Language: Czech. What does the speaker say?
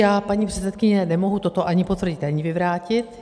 Já, paní předsedkyně, nemohu toto ani potvrdit, ani vyvrátit.